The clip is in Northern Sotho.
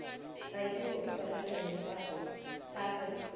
raisibe o swaregile ka ge